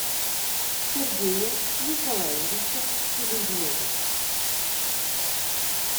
сергея николаевича селезнева